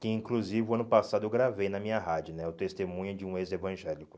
que inclusive ano passado eu gravei na minha rádio né, o testemunho de um ex-evangélico.